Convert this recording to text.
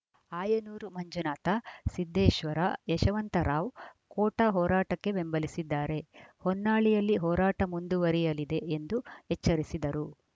ಆಯನೂರು ಮಂಜುನಾಥ ಸಿದ್ದೇಶ್ವರ ಯಶವಂತರಾವ್‌ ಕೋಟ ಹೋರಾಟಕ್ಕೆ ಬೆಂಬಲಿಸಿದ್ದಾರೆ ಹೊನ್ನಾಳಿಯಲ್ಲಿ ಹೋರಾಟ ಮುಂದುವರಿಯಲಿದೆ ಎಂದು ಎಚ್ಚರಿಸಿದರು